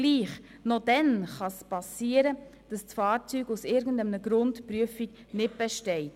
Aber auch dann kann es vorkommen, dass das Fahrzeug aus irgendeinem Grund die Prüfung nicht besteht.